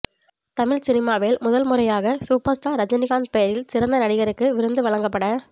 தமிழ் சினிமாவில் முதல் முறையாக சூப்பர் ஸ்டார் ரஜினிகாந்த் பெயரில் சிறந்த நடிகருக்கு விருது வழங்கப்பட